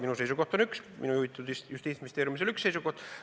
Minu seisukoht on üks, minu juhitud Justiitsministeeriumil oli üks seisukoht.